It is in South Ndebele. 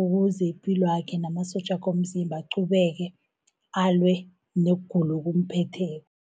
ukuze ipilwakhe namasotjakhe womzimba aqhubeke alwe nogula okumphetheko.